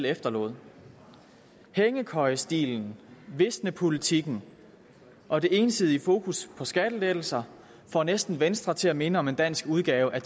efterlod hængekøjestilen visnepolitikken og det ensidige fokus på skattelettelser får næsten venstre til at minde om en dansk udgave af